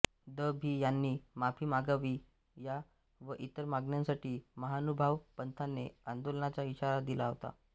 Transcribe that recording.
the भि यांनी माफी मागावी या व इतर मागण्यांसाठी महानुभाव पंथाने आंदोलनाचा इशारा दिला होता